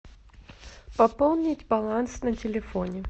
пополнить баланс на телефоне